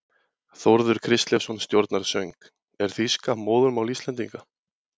Þórður Kristleifsson stjórnar söng: er þýska móðurmál Íslendinga?